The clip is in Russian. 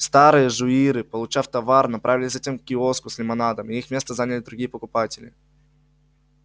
старые жуиры получав товар направились затем к киоску с лимонадом и их место заняли другие покупатели